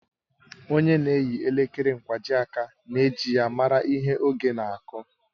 Ònye na-eyi elekere nkwajiaka na-eji ya mara ihe oge na-aku